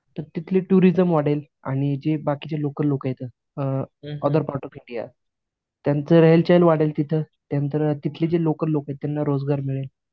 तर तिथली टुरिझम वाढेल आणि जे बाकीचे लोकल लोकं येतात a other part of India, त्यांचे रेहेलचेहेल वाढेल तिथं. त्यांनतर तिथली जी लोकल लोकं आहेत त्यांना रोजगार मिळेल.